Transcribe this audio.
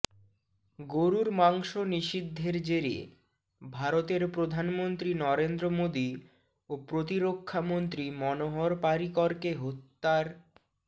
গরুর মাংস নিষিদ্ধের জেরে ভারতের প্রধানমন্ত্রী নরেন্দ্র মোদি ও প্রতিরক্ষা মন্ত্রী মনোহর পারিকরকে হত্যার